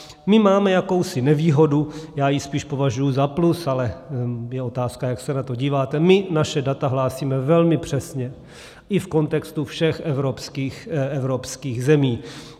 My máme jakousi nevýhodu, já ji spíš považuji za plus, ale je otázka, jak se na to díváte, my naše data hlásíme velmi přesně i v kontextu všech evropských zemí.